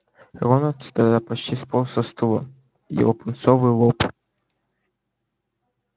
рон от стыда почти сполз со стула его пунцовый лоб